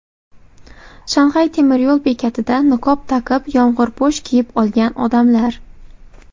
Shanxay temiryo‘l bekatida niqob taqib, yomg‘irpo‘sh kiyib olgan odamlar.